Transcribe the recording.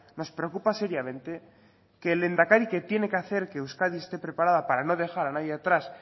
nos preocupa seriamente que el lehendakari que tiene que hacer que euskadi esté preparada para no dejar a nadie atrás